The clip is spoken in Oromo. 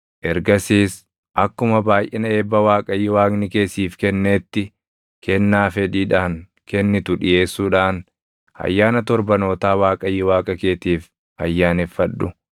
Ergasiis akkuma baayʼina eebba Waaqayyo Waaqni kee siif kenneetti kennaa fedhiidhaan kennitu dhiʼeessuudhaan Ayyaana Torbanootaa Waaqayyo Waaqa keetiif ayyaaneffadhu.